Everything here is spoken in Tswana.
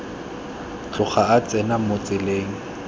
tloga a tsena mo tseleng